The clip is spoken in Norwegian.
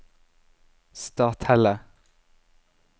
Stathelle